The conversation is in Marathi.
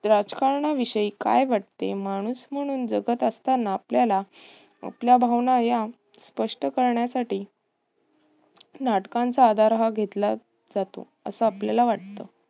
राजकारणाविषयी काय वाटते. माणूस म्हणून जगत असताना आपल्याला आपल्या भावना या स्पष्ट करण्यासाठी नाटकांचा आधार हा घेतला जातो. असं आपल्याला वाटते.